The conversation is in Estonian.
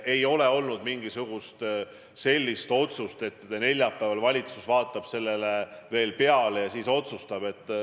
Ei ole olnud sellist otsust, et neljapäeval valitsus vaatab sellele tekstile veel peale ja siis otsustab.